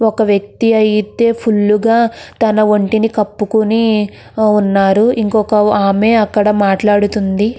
ఒక వ్యక్తి అయితె ఫుల్ గ తన వొంటిని కప్పుకొని వున్నారు ఇంకొక ఆమె అక్కడ మాట్లాడుతుంది.